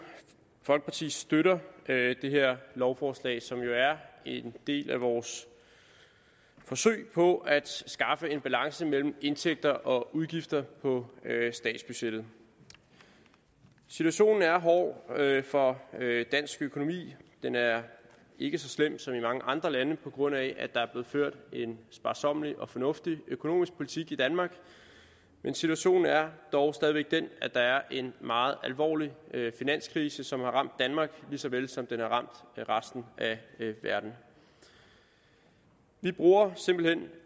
folkeparti støtter det her lovforslag som jo er en del af vores forsøg på at skaffe en balance mellem indtægter og udgifter på statsbudgettet situationen er hård for dansk økonomi den er ikke så slem som i mange andre lande på grund af at der er blevet ført en sparsommelig og fornuftig økonomisk politik i danmark men situationen er dog stadig væk den at der er en meget alvorlig finanskrise som har ramt danmark lige så vel som den har ramt resten af verden vi bruger simpelt hen